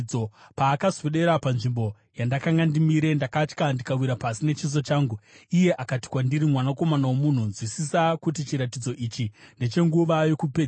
Paakaswedera panzvimbo yandakanga ndimire, ndakatya ndikawira pasi nechiso changu. Iye akati kwandiri, “Mwanakomana womunhu, nzwisisa kuti chiratidzo ichi ndechenguva yokupedzisira.”